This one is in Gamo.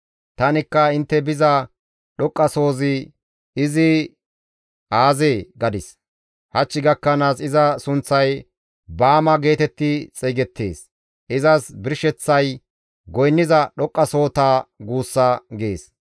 Tanikka, ‹Intte biza dhoqqasohozi izi aazee?› gadis. Hach gakkanaas iza sunththay Baama geetetti xeygettees; izas birsheththay goynniza dhoqqasohota guussa» gees.